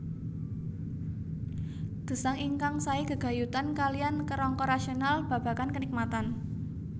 Gesang ingkang sae gegayutan kaliyan kerangka rasional babagan kenikmatan